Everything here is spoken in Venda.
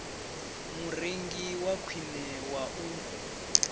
murengi wa khwine wa u